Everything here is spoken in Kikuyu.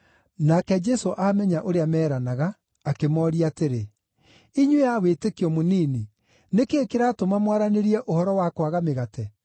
Nake Jesũ aamenya ũrĩa meeranaga, akĩmooria atĩrĩ, “Inyuĩ a wĩtĩkio mũnini, nĩ kĩĩ kĩratũma mwaranĩrie ũhoro wa kwaga mĩgate?